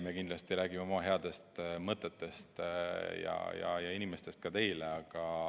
Me kindlasti räägime oma headest mõtetest ja inimestest ka teile.